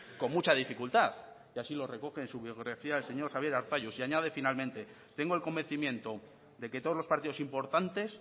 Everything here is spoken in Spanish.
con mucha dificultad y así lo recoge en su biografía el señor xabier arzalluz y añade finalmente tengo el convencimiento de que todos los partidos importantes